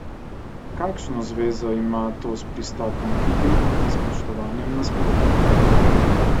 Kakšno zvezo ima to s pristopom k igri in spoštovanjem nasprotnika?